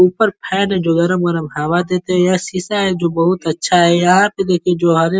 ऊपर फैन जो है जो गरम गरम हवा देते हैं। यह शीशा है बहोत अच्छा है। यहाँ पर देखिए जो हरे --